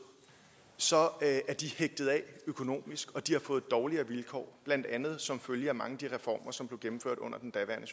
så er de hægtet af økonomisk og de har fået dårligere vilkår blandt andet som følge af mange af de reformer som blev gennemført under den daværende